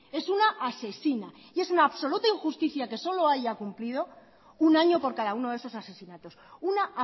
es una asesina y es una absoluta injusticia que solo haya cumplido un año por cada uno de esos asesinatos una